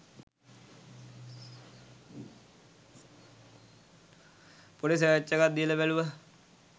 පොඩි සර්ච් එකක් දීල බැලුව